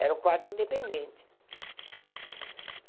Era um quarto independente.